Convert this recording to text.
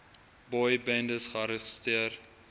boy bendes gearresteer